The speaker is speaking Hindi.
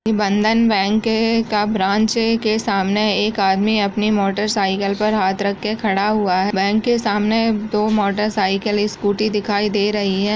बंधन बैंक के का ब्रांच के सामने एक आदमी अपनी मोटर साइकिल पर हाथ रख के खड़ा हुआ है | बैंक के सामने दो मोटर साइकिल एक स्कूटी दिखाई दे रही हैं ।